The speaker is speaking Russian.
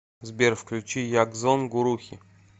сбер включи ягзон гурухи